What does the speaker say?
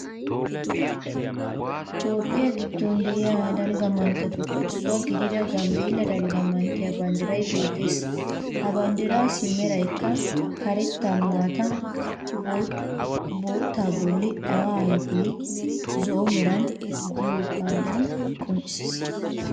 Toophphiya giddon de'iya dalgga manttetuppe issuwa gidida Gambbeella dalgga manttiya banddiray beettees. Ha banddiraassi merayikka karetta, maata, boottaa bolli awaa ayifenne zo'o mera gidiyogaadan qoncces.